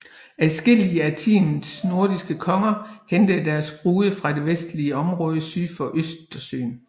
Adskillige af tidens nordiske konger hentede deres brude fra det vendiske område syd for Østersøen